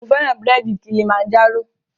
Mo fẹ́ràn búrèdì Kilimanjaro